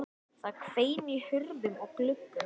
Það hvein í hurðum og gluggum.